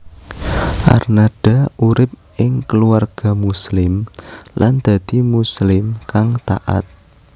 Arnada urip ing keluarga Muslim lan dadi Muslim kang taat